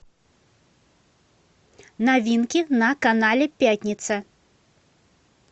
новинки на канале пятница